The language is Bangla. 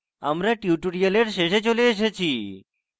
tutorial শেষে চলে এসেছি